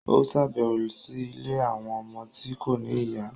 O ṣabẹwo sí ilé awọn ọmọ ti kò ní ìyá